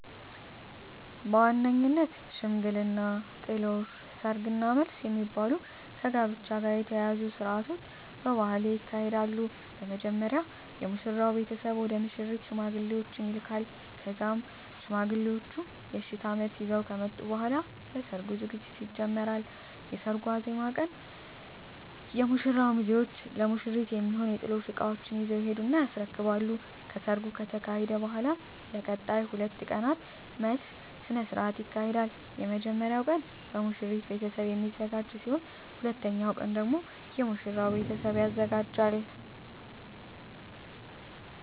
በዋነኝነት ሽምግልና፣ ጥሎሽ፣ ሰርግ እና መልስ የሚባሉ ከጋብቻ ጋር የተያያዙ ስርአቶች በባህሌ ይካሄዳሉ። በመጀመሪያ የሙሽራው ቤተሰብ ወደ ሙሽሪት ሽማግሌዎችን ይልካል ከዛም ሽማግሌዎቹ የእሽታ መልስ ይዘው ከመጡ በኃላ ለሰርጉ ዝግጅት ይጀመራል። የሰርጉ ዋዜማ ቀን ላይ የሙሽራው ሚዜዎች ለሙሽሪት የሚሆኑ የጥሎሽ እቃዎችን ይዘው ይሄዱና ያስረክባሉ። ከሰርጉ ከተካሄደ በኃላም ለቀጣይ 2 ቀናት መልስ ስነ ስርዓት ይካሄዳል። የመጀመሪያው ቀን በሙሽሪት ቤተሰብ የሚዘጋጅ ሲሆን ሁለተኛው ቀን ደግሞ የሙሽራው ቤተሰብ ያዘጋጃል።